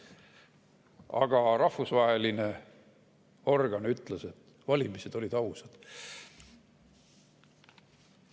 Aga rahvusvaheline organ ütles, et valimised olid ausad.